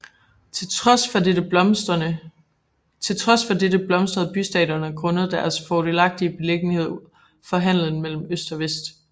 Til trods for dette blomstrede bystaterne grundet deres fordelagtige beliggenhed for handelen mellem øst og vest